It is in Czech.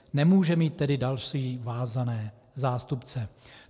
Nemůže mít tedy další vázané zástupce.